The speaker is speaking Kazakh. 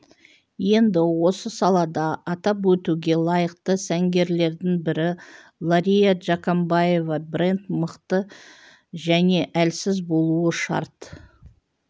енді осы салада атап өтуге лайықты сәнгерлердің бірі лария джакамбаева бренд мықты және әлсіз болуы шарт